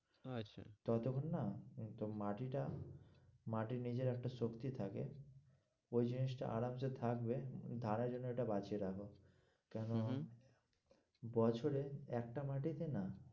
আচ্ছা, ততক্ষন না কিন্তু মাটিটা মাটির নিজের একটা শক্তি থাকে ওই জিনিসটা আরামসে থাকবে জন্য ঐটা বাঁচিয়ে রাখো কেন বছরে একটা মাটিতে না